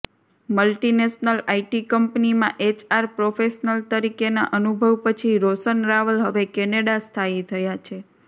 multinational IT કંપનીમાં HR professional તરીકેના અનુભવ પછી રોશન રાવલ હવે કેનેડા સ્થાયી થયા છે